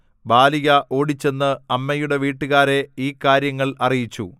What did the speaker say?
ബാലിക ഓടിച്ചെന്ന് അമ്മയുടെ വീട്ടുകാരെ ഈ കാര്യങ്ങൾ അറിയിച്ചു